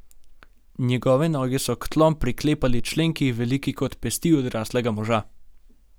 Njegove noge so k tlom priklepali členki, veliki kot pesti odraslega moža.